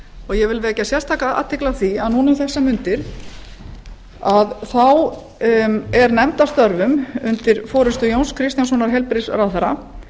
ég vil vekja sérstaka athyli á því að um þessar mundir er nefnd að störfum undir forustu jóns kristjánssonar heilbrigðisráðherra